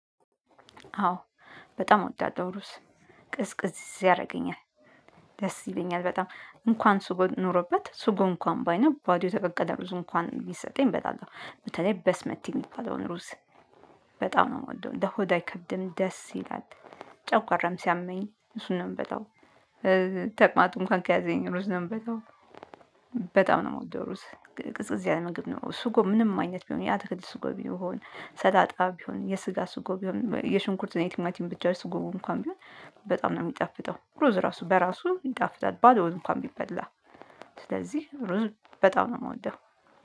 አዎ በጣም እወዳለሁ ሩዝ ቅዝቅዝ ያደርገኛል። ደስ ይለኛል በጣም እንኳን ስጎ ኖሮበት ስጎ እንኳን ባይኖር ባዶ እንኳን የተቀቀለ ሩዝ እንኳን ቢሰጠኝ እበላለሁ በተለይ በስመቲ የሚባለውን ሩዝ። በጣም ነው የምወደው። ለሆድ አይከብድም ደስ ይላል ጨጓራም ሲያመኝ እሱን ነው የምበላው። ተቅማጥ እንኳን ከያዘኝ ሩዝ ነው የምበላው። በጣም ነው የምወደው ሩዝ ቅዝቅዝ ያለ ምግብ ነው። ስጎ ምንም አይነት ቢሆን የአትክልት ስጎ ቢሆን ሰላጣ ቢሆን የስጋ ስጎ ቢሆን የሽንኩርት እና የቲማቲም ብቻ ስጎ እንኳን ቢሆን በጣም ነው የሚጣፍጠው ሩዝ ራሱ በራሱ ይጣፍጣል ባዶውን እንኳን ቢበላ ስለዚህ ሩዝ በጣም ነው የምወደው።